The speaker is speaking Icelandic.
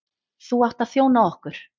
Þú átt að þjóna okkur.